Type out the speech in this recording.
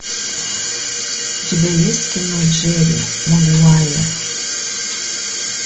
у тебя есть кино джерри магуайер